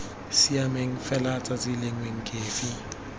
siameng fela tsatsi lengwe nkefi